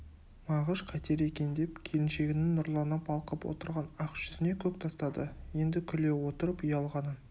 мағыш қайтер екен деп келіншегінің нұрлана балқып отырған ақ жүзіне көз тастады енді күле отырып ұялғанын